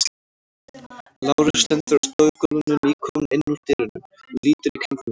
Lárus stendur á stofugólfinu, nýkominn inn úr dyrunum og lítur í kringum sig.